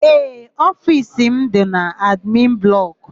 Ee, ofiisi m dị n'admin blọkụ.